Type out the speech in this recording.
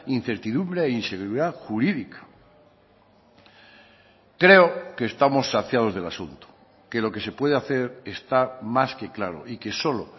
incertidumbre e inseguridad jurídica creo que estamos saciados del asunto que lo que se puede hacer está más que claro y que solo